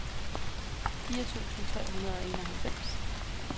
fire tusind tre hundrede og enoghalvfems